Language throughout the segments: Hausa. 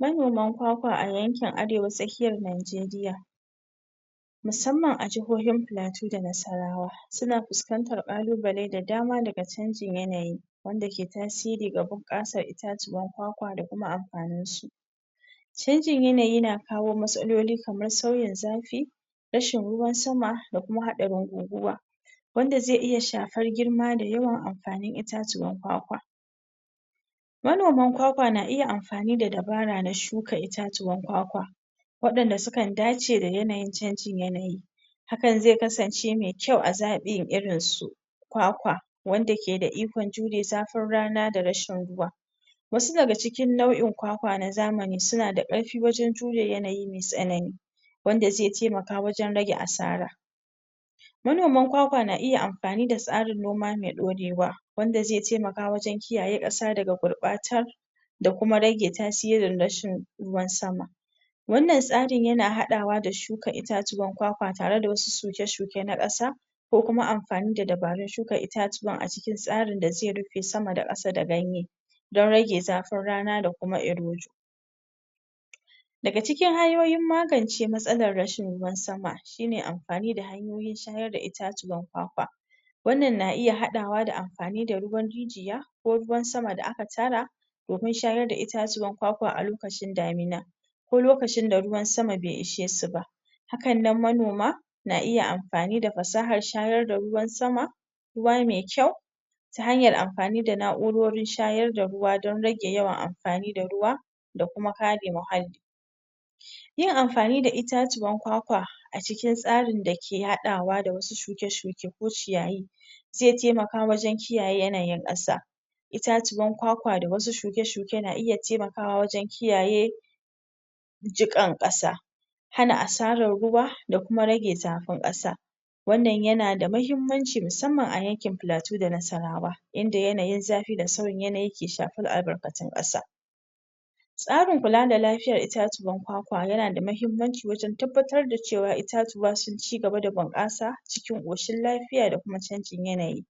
manoman kwakwa a yankin arewa tsakiyar Najeriya musamman a jihohin pilatu da nasarawa suna puskantar ƙalubale da dama daga canjin yanayi wanda ke tasiri ga bunƙasar itatuwan kwakwa da kuma ampaninsu canjin yanayi na kawo matsaloli kamar sauyin zafi rashin ruwan sama da kuma haɗarin guguwa wanda zai iya shapar girma da yawan ampanin itatuwan kwakwa manoman kwakwa na iya ampani da dabara na shuka itatuwan kwakwa waɗanda su kan dace da yanayin canjin yanayi hakan zai kasance mai kyau a zaɓin irin su kwakwa wanda ke da ikon jure zafin rana da rashin ruwa wasu daga cikin nau'in kwakwa na zamani suna da ƙarpi wajen jure yanayi me tsanani wanda ze taimaka wajen rage asara manoman kwakwa na iya ampani da tsarin noma me ɗorewa wanda zai taimaka wajen kiyaye ƙasa daga gurɓatar da kuma rage tasirin rashin ruwan sama wannan tsarin yana haɗawa da shuka itatuwan kwakwa tare da wasu suke shuke na ƙasa ko kuma ampani da dabarun shuka itatuwan a cikin tsarin da ze rupe sama da ƙasa da ganye don rage zafin rana da kuma irojo daga cikin hanyoyin magance matsalan rashin ruwan sama shine ampani da hanyoyin shayar da itatuwan kwakwa wannan na iya haɗawa da ampani da ruwan rijiya ko ruwan sama da aka tara domin shayar da itatuwan kwakwa a lokacin damina ko lokacin da ruwan sama be ishe su ba hakan nan manoma na iya ampani da pasahar shayar da ruwan sama ruwa me kyau ta hanyar ampani da na'urorin shayar da ruwa don rage yawan ampani da ruwa da kuma kare mahalli yin amfani da itatuwan kwakwa a cikin tsarin dake haɗawa da wasu shuke shuke ko ciyayi ze taimaka wajen kiyaye yanayin ƙasa itatuwan kwakwa da wasu shuke shuke na iya taimakawa wajen kiyaye jiƙan ƙasa hana asarar ruwa da kuma rage zapin ƙasa wannan yana da mahimmanci musamman a yankin pilatu da nasarawa inda yanayin zapi da sauyin yanayi ke shapar albarkatun ƙasa tsarin kula da lafiyar itatuwan kwakwa yana da mahimmanci wajen tabbatar da cewa itatuwa sun cigaba da bunƙasa cikin ƙoshin lapiya da kuma canjin yanayi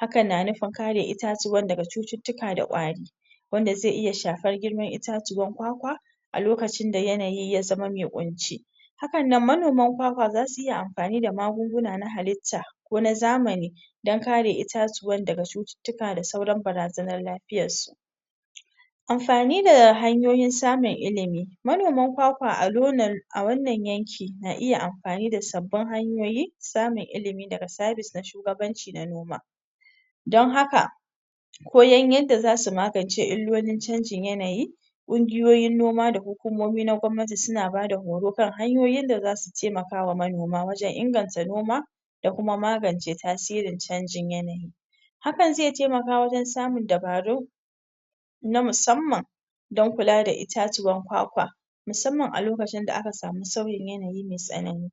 hakan na nupin kare itatuwan daga cututtuka da ƙwari wanda ze iya shapar girman itatuwan kwakwa a lokacin da yanayi ya zama me ƙunci hakan nan manoman kwakwa zasu iya ampani da magunguna na halitta ko na zamani don kare itatuwan daga cututtuka da sauran barazanar lapiyassu amfani da hanyoyin samun ilimi manoman kwakwa a lonal a wannan yanki na iya ampani da sabbin hanyoyi samun ilimi daga sabis da shugabanci na noma don haka koyan yanda zasu magance illolin canjin yanayi ƙungiyoyin noma da hukumomi na gwabnati suna bada horo kan hanyoyin da zasu taimakawa manoma wajen inganta noma da kuma magance tasirin canjin yanayi hakan ze taimaka wajen samun dabaru na musamman don kula da itatuwan kwakwa musamman a lokacin da aka samu sauyin yanayi mai tsanani